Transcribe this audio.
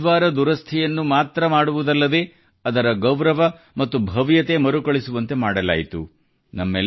ಗುರುದ್ವಾರ ದುರಸ್ಥಿಯನ್ನು ಮಾತ್ರ ಮಾಡುವುದಲ್ಲದೇ ಅದರ ಗೌರವ ಮತ್ತು ಭವ್ಯತೆ ಮರುಕಳಿಸುವಂತೆ ಮಾಡಲಾಯಿತು